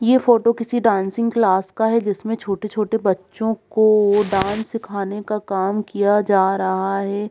ये फोटो किसी dancing class का है जिसमें छोटे-छोटे बच्चों को डांस सिखाने का काम किया जा रहा है ।